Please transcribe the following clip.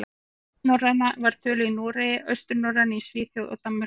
Vesturnorræna var töluð í Noregi, austurnorræna í Svíþjóð og Danmörku.